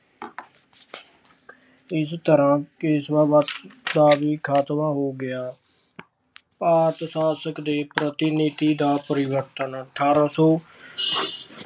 ਇਸ ਤਰ੍ਹਾਂ ਪੇਸ਼ਵਾ ਵੰਸ਼ ਦਾ ਵੀ ਖਾਤਮਾ ਹੋ ਗਿਆ। ਭਾਰਤ ਸ਼ਾਸਕ ਦੇ ਪ੍ਰਤੀਨਿਧੀ ਦਾ ਪਰਿਵਰਤਨ- ਅਠਾਰਾਂ ਸੌ